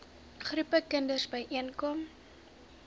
groepe kinders byeenkom